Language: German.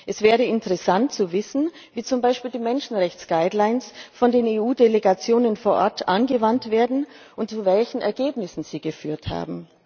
Es wäre interessant zu wissen, wie zum Beispiel die Menschenrechtsleitlinien von den EU Delegationen vor Ort angewandt werden und zu welchen Ergebnissen sie geführt haben.